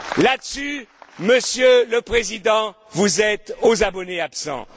Là dessus, Monsieur le Président, vous êtes aux abonnés absents.